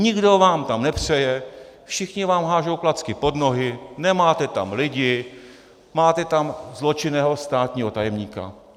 Nikdo vám tam nepřeje, všichni vám hážou klacky pod nohy, nemáte tam lidi, máte tam zločinného státního tajemníka.